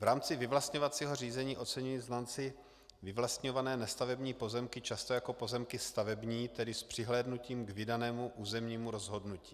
V rámci vyvlastňovacího řízení oceňují znalci vyvlastňované nestavební pozemky často jako pozemky stavební, tedy s přihlédnutím k vydanému územnímu rozhodnutí.